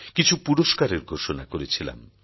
কিছু পুরস্কারের ঘোষণা করেছিলাম